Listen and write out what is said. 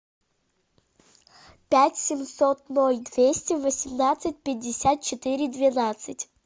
пять семьсот ноль двести восемнадцать пятьдесят четыре двенадцать